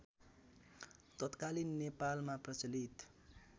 तत्कालीन नेपालमा प्रचलित